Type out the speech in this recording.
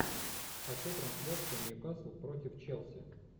хочу трансляцию ньюкасл против челси